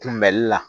Kunbɛli la